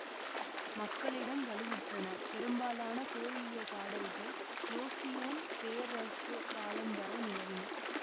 மக்களிடம் வலுவுற்றனபெரும்பாலான கோரியியோ பாடல்கள் யோசியோன் பேர்ரசு காலம் வரை நிலவின